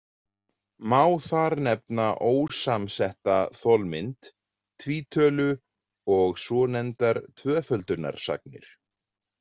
Má þar nefna ósamsetta þolmynd, tvítölu og svonefndar tvöföldunarsagnir.